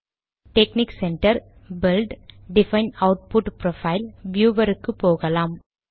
டெக்ஸ்னிக் Center build define output profile viewer க்கு போகலாம்